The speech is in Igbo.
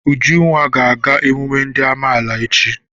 Ujunwa ga-aga emume ndị amaala echi..